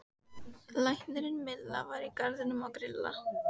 Læknirinn Milla var í garðinum að grilla.